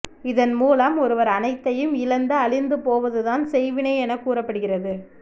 இதன் மூலம் ஒருவர் அனைத்தையும் இழந்து அழிந்து போவது தான் செய்வினை என கூறப்படுகிறது